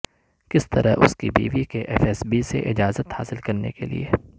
کس طرح اس کی بیوی کے ایف ایس بی سے اجازت حاصل کرنے کے لئے